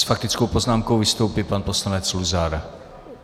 S faktickou poznámkou vystoupí pan poslanec Luzar.